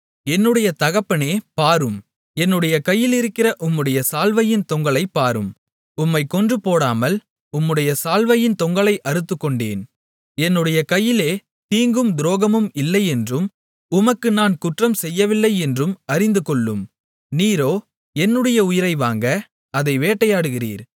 என்னுடைய தகப்பனே பாரும் என்னுடைய கையிலிருக்கிற உம்முடைய சால்வையின் தொங்கலைப் பாரும் உம்மைக் கொன்று போடாமல் உம்முடைய சால்வையின் தொங்கலை அறுத்துக்கொண்டேன் என்னுடைய கையிலே தீங்கும் துரோகமும் இல்லை என்றும் உமக்கு நான் குற்றம் செய்யவில்லை என்றும் அறிந்துகொள்ளும் நீரோ என்னுடைய உயிரை வாங்க அதை வேட்டையாடுகிறீர்